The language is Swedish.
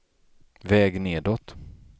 väg nedåt